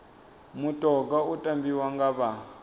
mutoga u tambiwa nga vha